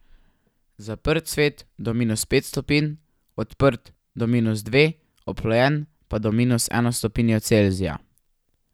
Zaprt cvet do minus pet stopinj, odprt do minus dve, oplojen pa do minus eno stopinjo Celzija.